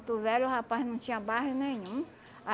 Velho, rapaz, não tinha bairro nenhum.